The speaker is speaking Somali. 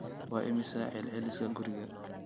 Waa imisa celceliska guriga?